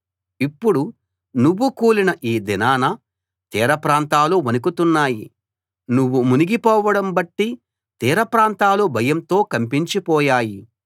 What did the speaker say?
ఇప్పుడు నువ్వు కూలిన ఈ దినాన తీరప్రాంతాలు వణుకుతున్నాయి నువ్వు మునిగిపోవడం బట్టి తీర ప్రాంతాలు భయంతో కంపించిపోయాయి